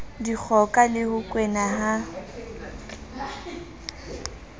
dikgoka le ho kwena ha